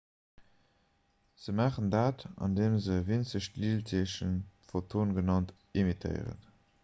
se maachen dat andeem se e winzegt liichtdeelchen photon genannt emittéieren